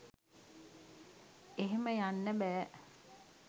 එහෙම යන්න බැහැ.